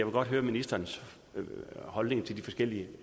godt høre ministerens holdning til de forskellige